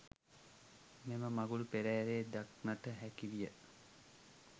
මෙම මඟුල් පෙරහරේ දක්නට හැකි විය.